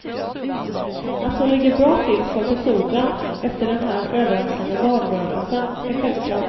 Att hon ligger bra till för befordran, efter den här överraskande valrörelsen, är självklart.